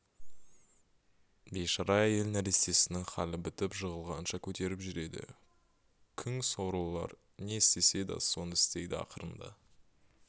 бейшара әйел нәрестесінің халі бітіп жығылғанша көтеріп жүреді күң сорлылар не істесе да соны істейді ақырында